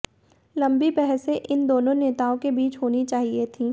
लंबी बहसें इन दोनों नेताओं के बीच होनी चाहिए थीं